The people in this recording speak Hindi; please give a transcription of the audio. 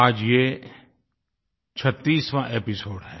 आज ये 36वाँ एपिसोड है